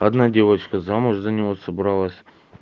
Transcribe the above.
одна девочка замуж за него собралась